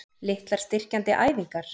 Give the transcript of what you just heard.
Litlar styrkjandi æfingar?